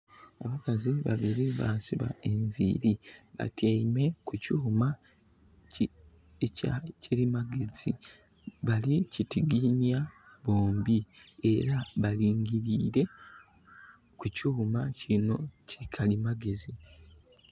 Abakazi babiri baasiba enviri batyeime ku kyuma ekya kalimagezi. Balikitiginhya bombi era balingilire ku kyuma kino ki kalimagezi.